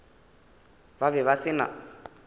ba be ba se na